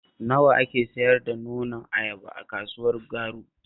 Nawa ake sayar da nonon ayaba a kasuwar Garu?